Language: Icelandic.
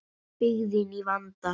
Byggðin í vanda.